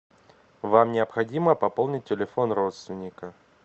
вам необходимо пополнить телефон родственника